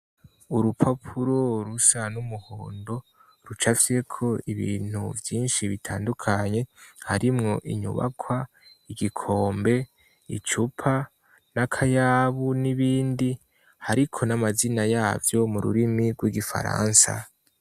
Urupapuro rusa n'umuhondo ruca fyeko ibintu vyinshi bitandukanye harimwo inyubakwa igikombe icupa n'akayabu n'ibindi hariko n'amazina yavyo mu rurimi rw'igifaransa.